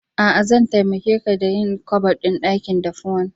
A'a, zan taimaka ƙa ɗa yin kabaɗin dakin daffuwan.